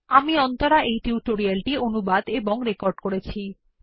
আমি অন্তরা এই টিউটোরিয়াল টি অনুবাদ এবং রেকর্ড করেছি